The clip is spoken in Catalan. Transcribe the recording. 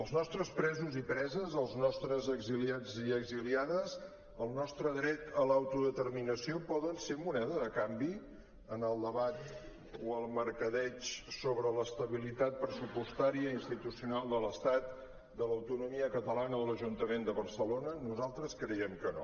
els nostres presos i preses els nostres exiliats i exiliades el nostre dret a l’autodeterminació poden ser moneda de canvi en el debat o el mercadeig sobre l’estabilitat pressupostària institucional de l’estat de l’autonomia catalana o l’ajuntament de barcelona nosaltres creiem que no